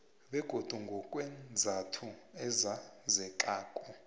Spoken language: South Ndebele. begodu ngokweenzathu ezazekako